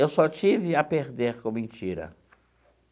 Eu só tive a perder com mentira.